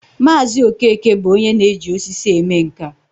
Maazi Okeke bu onye na-eji osisi eme nka